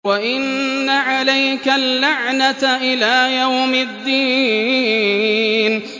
وَإِنَّ عَلَيْكَ اللَّعْنَةَ إِلَىٰ يَوْمِ الدِّينِ